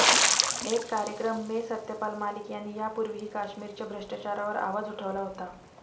एक कार्यक्रम में सत्यपाल मलिक यांनी यापूर्वीही कश्मीरच्या भ्रष्टाचारावर आवाज उठवला होता